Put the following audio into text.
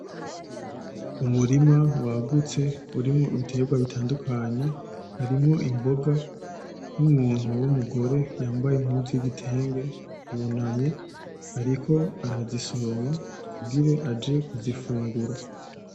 Umurima wagutse urimwo ibiterwa bitandukanye. Harimwo imboga n'umuntu w'umugore yambaye impuzu y'igitenge yunamye ariko arazisoroma kugira aje kuzifungura.